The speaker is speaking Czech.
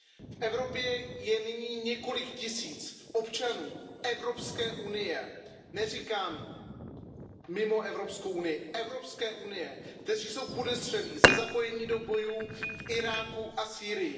V Evropě je nyní několik tisíc občanů Evropské unie, neříkám mimo Evropskou unii, kteří jsou podezřelí ze zapojení do bojů v Iráku a Sýrii.